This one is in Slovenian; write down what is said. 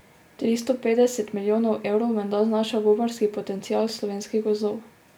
Tristo petdeset milijonov evrov menda znaša gobarski potencial slovenskih gozdov.